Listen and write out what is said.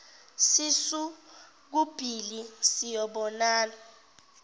sisu kubhili siyobona